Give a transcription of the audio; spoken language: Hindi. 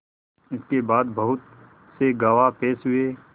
इसके बाद बहुत से गवाह पेश हुए